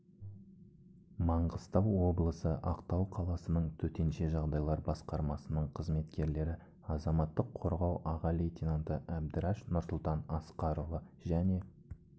маңғыстау облысы ақтау қаласының төтенше жағдайлар басқармасының қызметкерлері азаматтық қорғау аға лейтенанты абдираш нұрсұлтан асқарұлы және